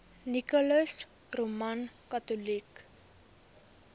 nicholas roman catholic